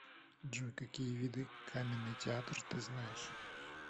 джой какие виды каменный театр ты знаешь